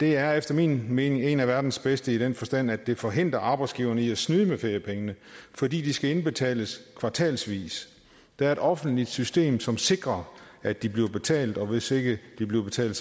er efter min mening en af verdens bedste i den forstand at den forhindrer arbejdsgiverne i at snyde med feriepengene fordi de skal indbetales kvartalsvis der er et offentligt system som sikrer at de bliver betalt og hvis ikke de bliver betalt